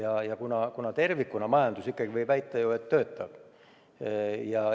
Aga majandus tervikuna, võib ju ikkagi väita, töötab.